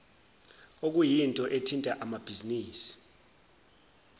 okuyinto ethinta amabhizinisi